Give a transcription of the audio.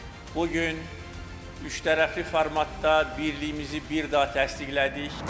Bu gün üçtərəfli formatda birliyimizi bir daha təsdiqlədik.